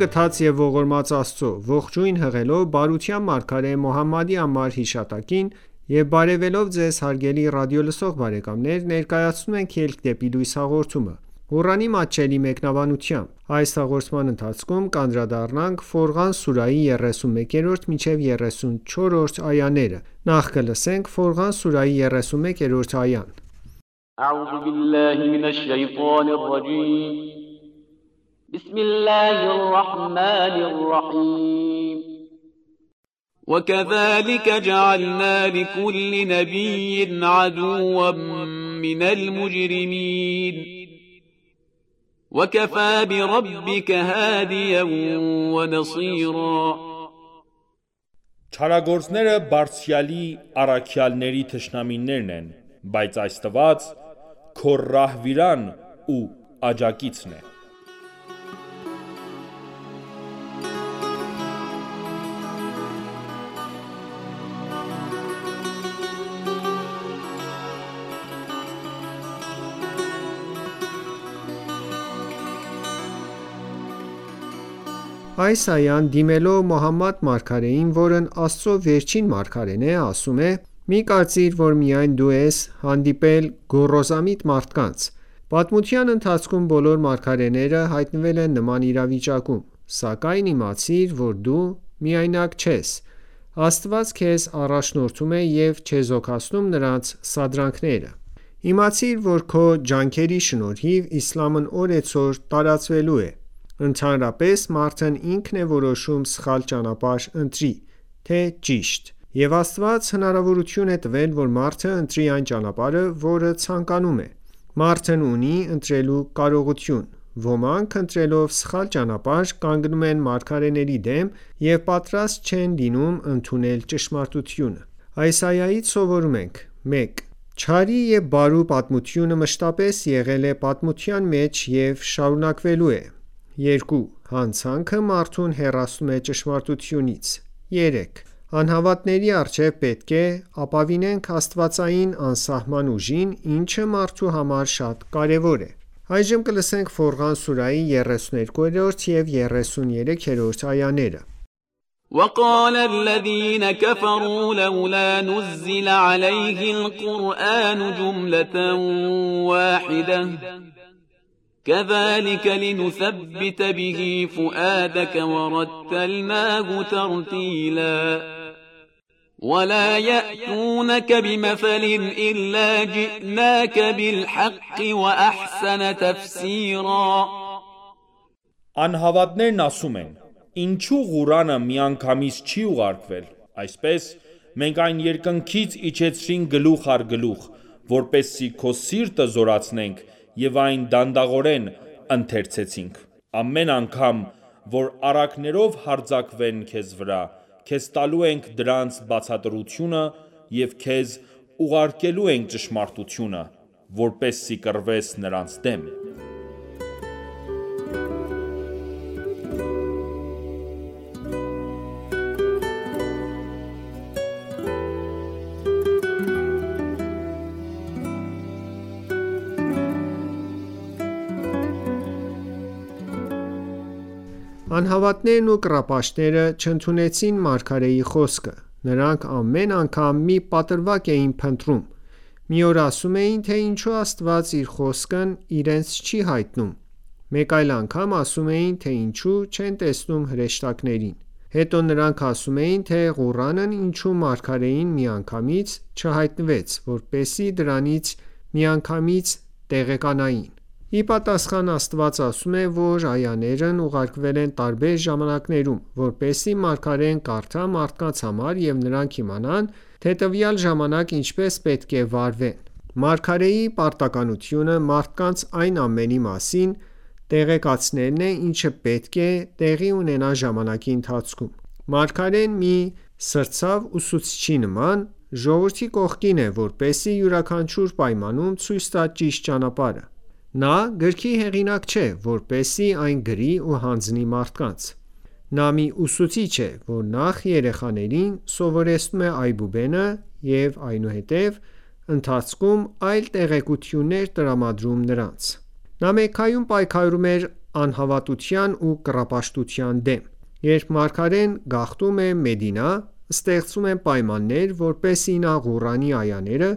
գթած և ողորմած Աստծո: Ողջույն հղելով բարության մարգարե Մոհամմադի անմար հիշատակին եւ բարեւելով Ձեզ հարգելի ռադիոլսող բարեկամներ ներկայացնում ենք «Ելք դեպի լույս» հաղորդումը, Ղուրանի մատչելի մեկնաբանությամբ: Ֆորղան սուրահի 31-րդ այա «وَ کَذَلِکَ جَعَلْنَا لِکُلِّ نَبِیٍّ عَدُوًّا مِنَ الْمُجْرِمِینَ وَ کَفَى بِرَبِّکَ هَادِیًا وَ نَصِیرًا» Չարագործները Բարձրյալի առաքյալների թշնամիներն են, բայց Աստված քո ռահվիրան ու աջակիցն է: Այս այան, դիմելով Մոհամմադ մարգարեին, որն Աստծո վերջին մարգարեն է, ասում է. «Մի կարծիր, որ միայն դու ես հանդիպել գոռոզամիտ մարդկանց: Պատմության ընթացքում, բոլոր մարգարեները հայտնվել են նման իրավիճակում: Սակայն իմացիր, որ դու միայնակ չես, Աստված քեզ առաջնորդում է և չեզոքացնում նրանց սադրանքները: Իմացիր, որ քո ջանքերի շնորհիվ, իսլամն օրեցօր տարածվելու է»: Ընդհանրապես, մարդն ինքն է որոշում սխալ ճանապարհ ընտրի, թե՝ ճիշտ: Եվ Աստված հնարավորություն է տվել, որ մարդը ընտրի այն ճանապարհը, որը ցանկանում է: Մարդն ունի ընտրելու կարողություն: Ոմանք ընտրելով սխալ ճանապարհ, կանգնում են մարգարեների դեմ և պատրաստ չեն լինում ընդունել ճշմարտությունը: Այս այայից սովորում ենք. 1. Չարի ու բարու պատմությունը մշտապես եղել է պատմության մեջ և շարունակվելու է: 2. Հանցանքը մարդուն հեռացնում է ճշմարտությունից: 3. Անհավատների առջև պետք է ապավինենք աստվածային անսահման ուժին, ինչը մարդու համար շատ կարևոր է: Ֆորղան սուրահի 32 և 33-րդ այաներ وَلَا یَأْتُونَکَ بِمَثَلٍ إِلَّا جِئْنَاکَ بِالْحَقِّ وَأَحْسَنَ تَفْسِیرًا Անհավատներն ասում են. Ինչու՞ Ղուրանը միանգամից չի ուղարկվել: Այսպես(Մենք այն երկնքից իջեցրինք գլուխ առ գլուխ), որպեսզի քո սիրտը զորացնենք .և այն դանդաղորեն ընթերցեցինք: Ամեն անգամ, որ առակներով հարձակվեն քեզ վրա, քեզ տալու ենք դրանց բացատրությունը և քեզ ուղարկելու ենք ճշմարտությունը, (որպեսզի կռվես նրանց դեմ): Անհավատներն ու կռապաշտները չընդունեցին մարգարեի խոսքը: Նրանք ամեն անգամ մի պատրվակ էին փնտրում: Մի օր ասում էին, թե ինչո՞ւ Աստված իր խոսքն իրենց չի հայտնում, մեկ այլ անգամ ասում էին, թե ինչո՞ւ չեն տեսնում հրեշտակներին: Հետո նրանք ասում էին, թե Ղուրանն ինչո՞ւ մարգարեին միանգամից չհայտնվեց, որպեսզի դրանից միանգամից տեղեկանային: Ի պատասխան, Աստված ասում է, որ այաներն ուղարկվել են տարբեր ժամանակներում, որպեսզի մարգարեն կարդա մարդկանց համար ու նրանք իմանան, թե տվյալ ժամանակ ինչպես պետք է վարվեն: Մարգարեի պարտականությունը մարդկանց այն ամենի մասին տեղեկացնելն է, ինչը պետք է տեղի ունենա ժամանակի ընթացքում: Մարգարեն, մի սրտացավ ուսուցչի նման, ժողովրդի կողքին է, որպեսզի յուրաքանչյուր պայմանում ցույց տա ճիշտ ճանապարհը: Նա գրքի հեղինակ չէ, որպեսզի այն գրի ու հանձնի մարդկանց: Նա մի ուսուցիչ է, որ նախ երեխաներին սովորեցնում է այբուբենը և այնուհետև, ընթացքում, այլ տեղեկություններ տրամադրում նրանց: Նա Մեքքայում պայքարում էր անհավատության ու կռապաշտության դեմ: Երբ մարգարեն գաղթում է Մադինա, ստեղծվում են պայմաններ, որպեսզի նա Ղուրանի այաները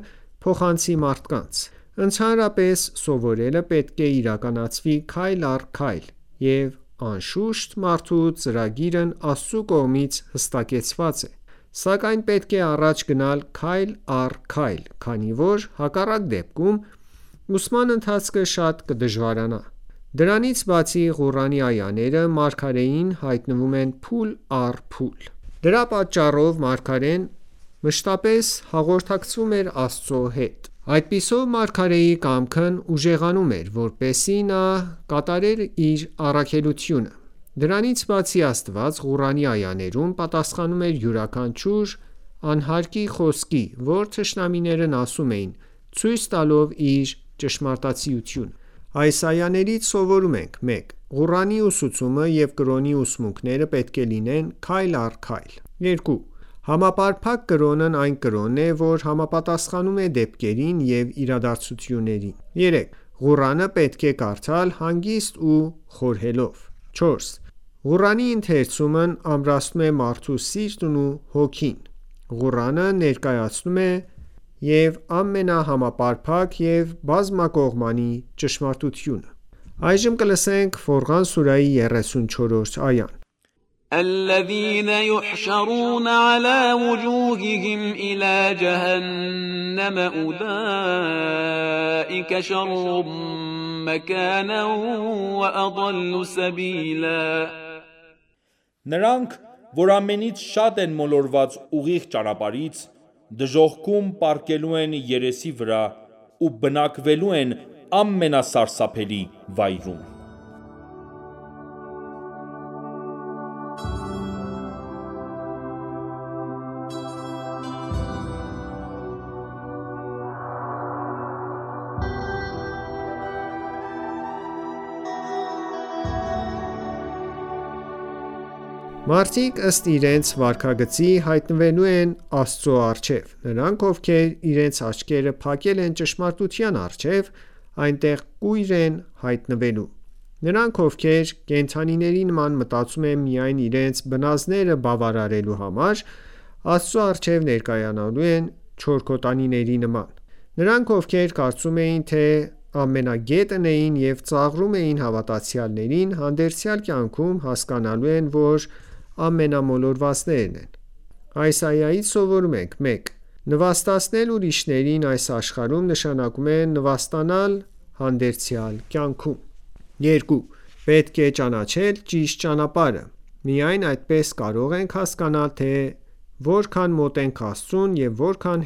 փոխանցի մարդկանց: Ընդհանրապես, սովորելը պետք է իրականացվի քայլ առ քայլ և անշուշտ, մարդու ծրագիրն Աստծո կողմից հստակեցված է: Սակայն պետք է առաջ գնալ քայլ առ քայլ, քանի որ հակառակ դեպքում, ուսման ընթացքը շատ կդժվարանա: Դրանից բացի, Ղուրանի այաները մարգարեին հայտնվում են փուլ առ փուլ: Դրա պատճառով, մարգարեն մշտապես հաղորդակցվում էր Աստծո հետ: Այդպիսով, մարգարեի կամքն ուժեղանում էր, որպեսզի նա կատարեր իր առաքելությունը: Դրանից բացի, Աստված Ղուրանի այաներով պատասխանում էր յուրաքանչյուր անհարկի խոսքի, որ թշնամիներն ասում էին, ցույց տալով իր ճշմարտացիությունը: Այս այաներից սովորում ենք. 1. Ղուրանի ուսուցումը և կրոնի ուսմունքները պետք է լինեն քայլ առ քայլ: 2. Համապարփակ կրոնն այն կրոնն է, որ համապատասխանում է դեպքերին և իրադարձություններին: 3. Ղուրանը պետք է կարդալ հանգիստ ու խորհելով: 4. Ղուրանի ընթերցումն ամրացնում է մարդու սիրտն ու հոգին: Ղուրանը ներկայացնում է և ամենահամապարփակ և բազմակողմանի ճշմարտությունը: Ֆորղան սուրահի 34-րդ այա Նրանք, որ ամենից շատ են մոլորված ուղիղ ճանապարհից, դժոխքում պառկելու են երեսի վրա ու բնակվելու են ամենասրսափելի վայրում: Մարդիկ ըստ իրենց վարքագծի, հայտնվելու են Աստծո առջև: Նրանք, ովքեր իրենց աչքերը փակել էին ճշմարտության առջև, այնտեղ կույր են հայտնվելու: Նրանք, ովքեր կենդանիների նման մտածում են միայն իրենց բնազդները բավարարելու համար, Աստծո առջև ներկայանալու են չորքոտանիների նման: Նրանք, ովքեր կարծում էին, թե ամենագետն էին և ծաղրում էին հավատացյալներին, հանդերձյալ կյանքում հասկանալու են, որ ամենամոլորվածներն են: Այս այայից սովորում ենք. 1. Նվաստացնել ուրիշներին այս աշխարհում, նշանակում է նվաստանալ հանդերձյալ կյանքում: 2. Պետք է ճանաչել ճիշտ ճանապարհը: Միայն այդպես կարող ենք հասկանալ, թե որքան մոտ ենք Աստծուն և որքան